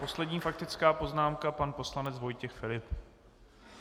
Poslední faktická poznámka pan poslanec Vojtěch Filip.